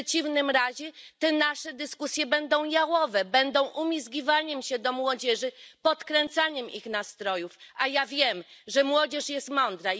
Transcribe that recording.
W przeciwnym razie nasze dyskusje będą jałowe, będą umizgiwaniem się do młodzieży, podkręcaniem jej nastrojów. A ja wiem, że młodzież jest mądra.